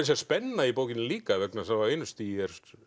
segja spenna í bókinni líka vegna þess að á einu stigi